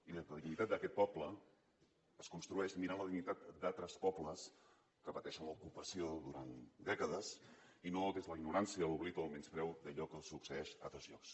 i la dignitat d’aquest poble es construeix mirant la dignitat d’altres pobles que pateixen l’ocupació durant dècades i no des de la ignorància l’oblit o el menyspreu d’allò que succeeix a altres llocs